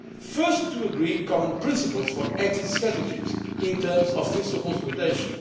First, to agree common principles for exit strategies in terms of fiscal consolidation.